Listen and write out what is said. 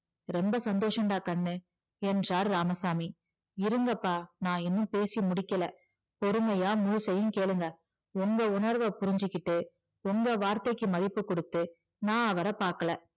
ரொம்ப சந்தோசன்டா கண்ணு என்றார் இராமசாமி இருங்கப்பா நான் இன்னும் பேசி முடிக்கல பொறுமையா முழுசையும் கேளுங்க எங்க உணர்வ புரிஞ்சுகிட்டு உங்க வார்த்தைக்கு மதிப்பு கொடுத்து நான் அவரை பாக்கல